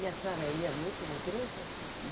E a senhora ia muito na igreja? Hum,